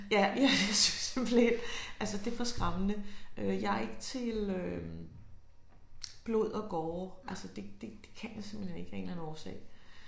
Ja ja jeg synes simpelthen altså det for skræmmende. Øh jeg er ikke til øh blod og gore altså det det det kan jeg simpelthen ikke af en eller anden årsag